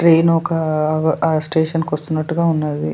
Train ఒక అ station కి వస్తున్నట్టుగా ఉన్నది .